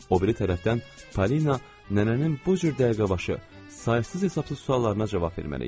O biri tərəfdən Polina nənənin bu cür dəqiqəbaşı, saysız-hesabsız suallarına cavab verməli idi.